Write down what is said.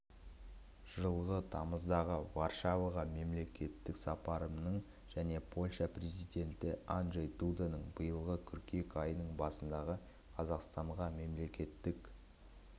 жылғы тамыздағы варшаваға мемлекеттік сапарымның және польша президенті анджей дуданың биылғы қыркүйек айының басындағы қазақстанға мемлекеттік